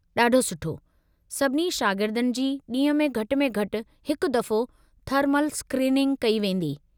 ॾाढो सुठो! सभिनी शागिर्दनि जी ॾींह में घटि में घटि हिकु दफ़ो थर्मल स्क्रीनिंग कई वेंदी।